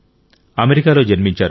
అమెరికాలో జన్మించారు